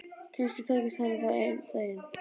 Kannski tækist henni það einn daginn.